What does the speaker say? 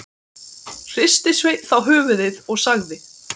Hristi Sveinn þá höfuðið og sagði